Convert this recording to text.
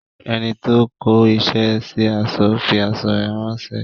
Enito kó isẹ sí aṣọ fi aṣọ rè ránsẹ́